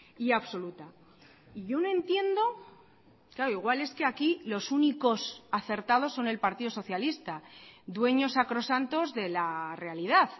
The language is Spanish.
y absoluta y yo no entiendo claro igual es que aquí los únicos acertados son el partido socialista dueños sacrosantos de la realidad